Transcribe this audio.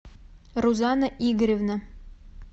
рузана игоревна